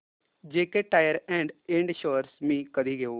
JK tyre and ind shares मी कधी घेऊ